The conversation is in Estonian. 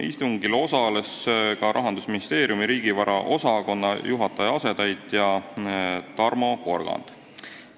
Istungil osales ka Rahandusministeeriumi riigivara osakonna juhataja asetäitja Tarmo Porgand.